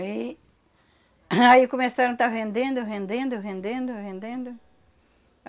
E aí... Aí começaram a estar vendendo, vendendo, vendendo, vendendo.